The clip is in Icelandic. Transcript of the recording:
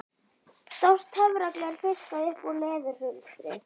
Stórt töfragler fiskað upp úr leðurhulstri